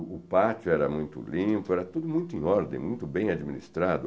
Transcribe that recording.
O pátio era muito limpo, era tudo muito em ordem, muito bem administrado.